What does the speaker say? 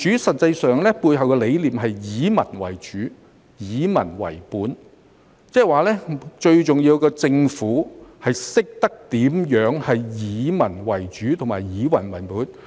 實際上，民主背後的理念是以民為主，以民為本，即最重要的是政府懂得如何以民為主和以民為本。